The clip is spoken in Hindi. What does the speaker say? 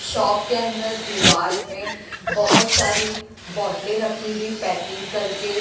शॉप के अंदर दीवार में बहुत सारी बोतलें खी हुई पैकिंग करके।